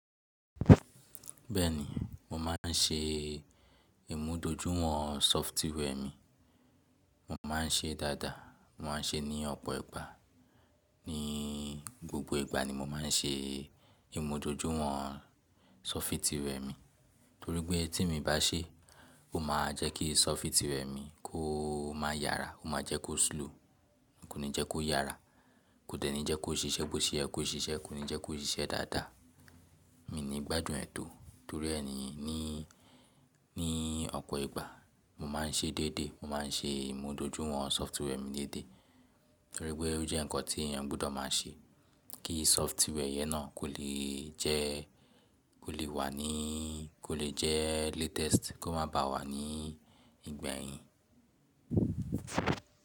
Bẹ́ẹ̀ni, mo máa ń ṣe ìmúdójúwọ̀n software mi. Mo máa ń ṣe dáadáa, mo ma ń ṣe ní ọpọ ìgbà. Ní gbogbo ìgbà ni mo máa ń ṣe ìmúdójúwọ̀n software mi. Torí pé tí mibá ṣé, ó máa jẹ́ kí software mi kó má yára, ó máa jẹ́ kó slow, kò ní jẹ́ kó yára, kò dẹ́ni jẹ́ kó ṣiṣẹ́ bó ti yẹ kó ṣíṣẹ, kò ní jẹ́ kó ṣíṣẹ dáadáa. Mi ní gbádùn ẹ tọ torí ẹni ní, ní ọpọ ìgbà, mo máa ń ṣe dédé, mo máa ń ṣe ìmúdójúwọ̀n software mi dédé torí pé ó jẹ́ nǹkan tí èèyàn gbọdọ̀ máa ṣe kí software yẹn náà kò lè jẹ, kò lè wà ní, kò lè jẹ latest, kó má ba wà ní ìgbẹyìn.